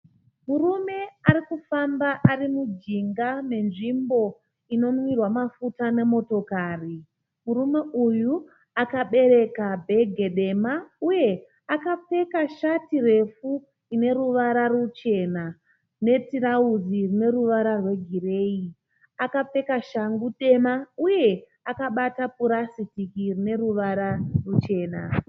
Murume arikufamba arimujinga menzvimbo inonwirwa mafuta nemotokari. Murume uyu akabereka bhegi dema uye akapfeka shati refu ine ruvara ruchena netirauzi rine ruvara rwegireyi. Akapfeka shangu nhema uye akabata purasitiki rine ruvara ruchena.